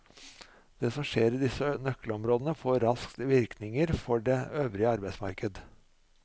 Det som skjer i disse nøkkelområdene får raskt virkninger for det øvrige arbeidsmarked.